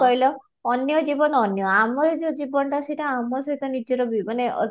କହିଲ ଅନ୍ୟ ଜୀବନ ଅନ୍ୟ ଆମର ଯଉ ଜୀବନଟା ସେଇଟା ଆମ ସହିତ ନିଜର ବି ମାନେ